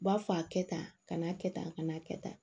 U b'a fɔ a kɛ tan a kana kɛ tan a kana a kɛ tan